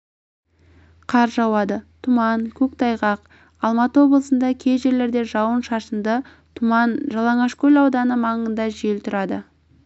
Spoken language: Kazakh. қар жауады тұман көктайғақ алматы облысында кей жерлерде жауын-шашынды түман жалаңашкөл ауданы маңында жел тұрады